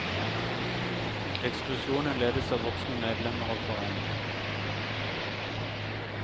Ekskursjonen ledes av voksne medlemmer av foreningen.